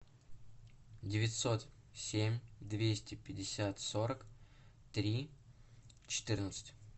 девятьсот семь двести пятьдесят сорок три четырнадцать